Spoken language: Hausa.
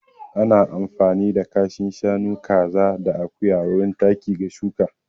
Ana amfani da kashin shanu, kaza da akuya wurin taki ga shuƙa.